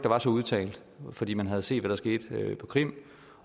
var så udtalt fordi man havde set hvad der skete på krim